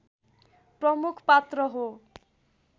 प्रमुख पात्र हो